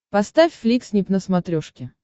поставь фликснип на смотрешке